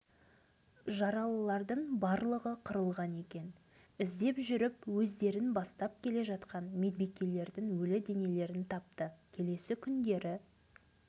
жаралылардың барлығы қырылған екен іздеп жүріп өздерін бастап келе жатқан медбикелердің өлі денелерін тапты келесі күндері